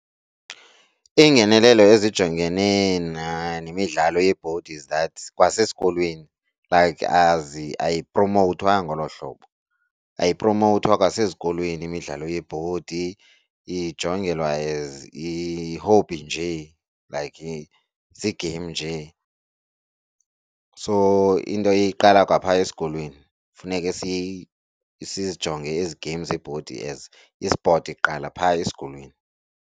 Iingenelelo ezijongene nemidlalo yebhodi is that kwasesikolweni like awupromowuthwa ngolo hlobo. Ayipromowuthwa kwasezikolweni imidlalo yebhodi, ijongelwa as i-hobby njee like zii-game njee. So into iqala kwaphaa esikolweni funeke sizijonge ezi game zebhodi as ispoti kuqala phaa esikolweni.